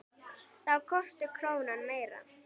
Þá kosti krónan meira.